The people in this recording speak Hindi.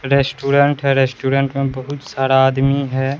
रेस्टोरेंट है रेस्टोरेंट में बहुत सारा आदमी है।